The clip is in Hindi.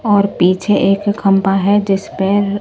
और पीछे एक खंभा है जिसपे --